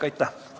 Aitäh!